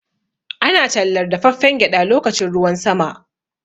Ana tallar dafaffen gyaɗa lokacin ruwan sama.